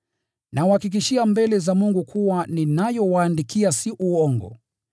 Nawahakikishia mbele za Mungu kuwa ninayowaandikia si uongo.